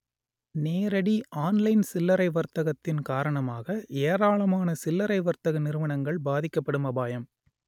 நேரடி ஆன்லைன் சில்லறை வர்த்தகத்தின் காரணமாக ஏராளமான சில்லரை வர்த்தக நிறுவனங்கள் பாதிக்கப்படும் அபாயம்